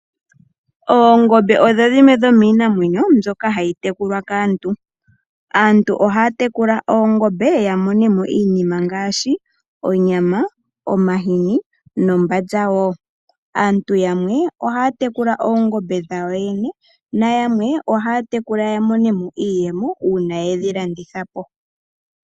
Oongombe odho dhimwe dhomiinamwenyo mbyoka hayi tekulwa kaantu. Aantu ohaya tekula oongombe opo yamone mo iinima ngaashi onyama, omahini, nombanza wo. Aantu yamwe ohaya tekula oongombe dhawo yene, nayamwe ohaya tekula yamone mo iiyemo uuna yedhilanditha po.